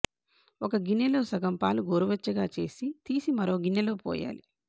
ఓ గిన్నెలో సగం పాలు గోరువెచ్చగా చేసి తీసి మరో గిన్నెలో పోయాలి